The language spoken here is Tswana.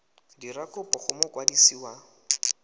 dira kopo go mokwadisi wa